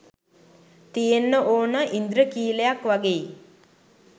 තියෙන්නෙ ඕන ඉන්ද්‍රඛීලයක් වගෙයි